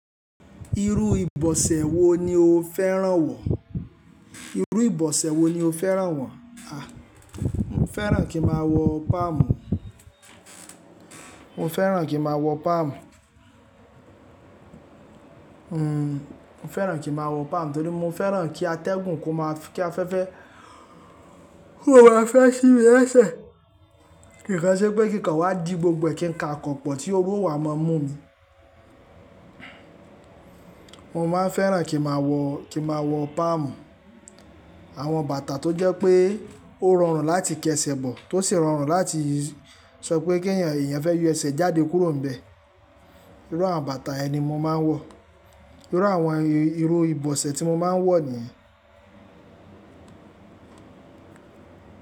Irú ìbọ̀sẹ̀ wo ni o fẹ́ràn wọ̀? Irú ìbọ̀sẹ̀ wo ni o fẹ́ràn wọ̀? A! Mo fẹ́ràn kí ma wọ palm, mo fẹ́ràn kí ma wọ palm. Hmm, mo fẹ́ràn kí ma wọ palm, torí mo fẹ́ràn kí atẹ́gùn kó má ki afẹ́fẹ́ kó wa fẹ́ sí mi lẹ́sẹ̀. Kìkan se pé kìkan wá di gbogbo ẹkìn ka akọ̀pọ̀ tí oru o wa mọ mú mi. Mo maa n fẹ́ràn kí ma wọ, kí ma wọ palm. Àwọn bàtà tó jẹ́ pé ó rọrùn láti kẹsẹ̀ bọ̀, tó sì rọrùn láti sọ pé kí ẹ̀yàn fẹ́ yo ẹsẹ̀ jáde kúrò níbẹ̀. Irú àwọn bàtà ẹni mo ma ń wọ̀. Irú àwọn ìró ìbọ̀sẹ̀ tí mo ma ń wọ̀ nìyẹn.